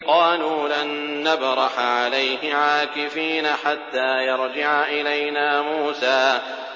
قَالُوا لَن نَّبْرَحَ عَلَيْهِ عَاكِفِينَ حَتَّىٰ يَرْجِعَ إِلَيْنَا مُوسَىٰ